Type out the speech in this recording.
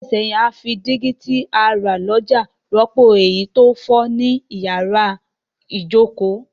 Ní odún díẹ̀ sẹ́hìn, a fi dígí ti a rà lójà rọ́pò èyí to fo ni yàrá ìjoko